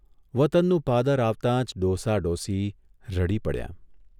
વતનનું પાદર આવતા જ ડોસા ડોસી રડી પડ્યાં.